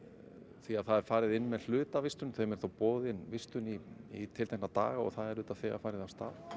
því að það er farið inn með hlutavistun þeim er þá boðin vistun í tiltekna daga og það er auðvitað þegar farið af stað